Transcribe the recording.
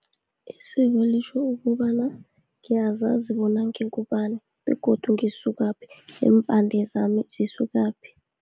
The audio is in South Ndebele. Isiko litjho ukobana ngiyazazi bona, ngingubani, begodu ngisukaphi, neempande zami zisukaphi.